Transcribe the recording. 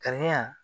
Kariya